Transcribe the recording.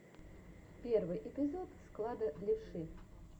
первый эпизод склада левши